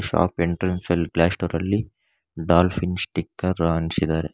Shop entrance ಅಲ್ಲಿ glass ಡೋರಲ್ಲಿ dolphin sticker ಅಂಟ್ಸಿದ್ದಾರೆ.